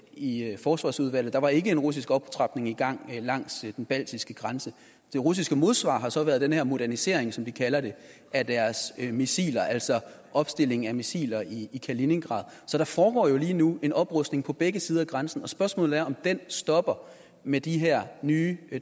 i forsvarsudvalget der var ikke en russisk optrapning i gang langs den baltiske grænse det russiske modsvar har så været den her modernisering som de kalder det af deres missiler altså opstillingen af missiler i i kaliningrad så der foregår jo lige nu en oprustning på begge sider af grænsen og spørgsmålet er om den stopper med de her nye